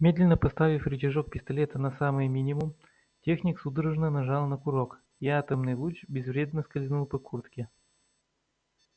медленно поставив рычажок пистолета на самый минимум техник судорожно нажал на курок и атомный луч безвредно скользнул по куртке